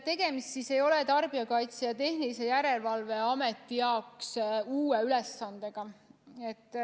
Tegemist ei ole Tarbijakaitse ja Tehnilise Järelevalve Amet jaoks uue ülesandega.